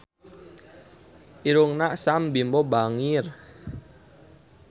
Irungna Sam Bimbo bangir